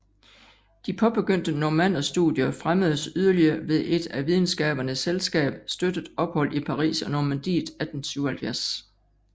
De påbegyndte normannerstudier fremmedes yderligere ved et af Videnskabernes Selskab støttet ophold i Paris og Normandiet 1877